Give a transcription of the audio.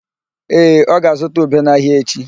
Ee, ọ ga-azụta ube n'ahịa echi.